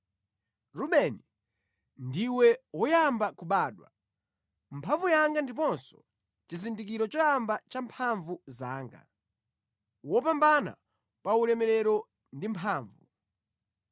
“Rubeni, ndiwe woyamba kubadwa; mphamvu yanga ndiponso chizindikiro choyamba cha mphamvu zanga, wopambana pa ulemerero ndi mphamvu.